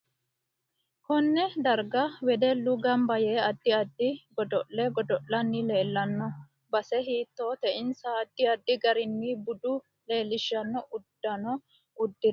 Konne darga wedellu ganba yee addi addi godo'le godolanni leelanno base hiitoote insa addi addi gariini budu leelishanno uddanno udire godo'lani noohu mayiinti